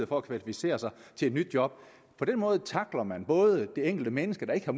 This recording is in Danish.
for at kvalificere sig til et nyt job på den måde tackler man det enkelte menneske der ikke har